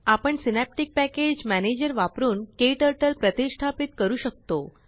आपणSynaptic package manager वापरून KTurtleप्रतिष्ठापीत करू शकतो